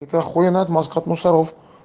это ахуенная отмазка от мусоров